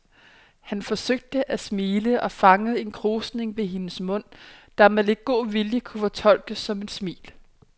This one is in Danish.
Han forsøgte at smile og fangede en krusning ved hendes mund, der med lidt god vilje kunne fortolkes som et smil.